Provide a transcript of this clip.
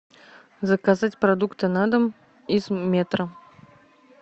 заказать продукты на дом из метро